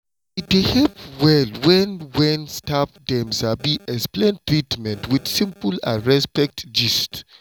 e dey help well when when staff dem sabi explain treatment with simple and respect gist.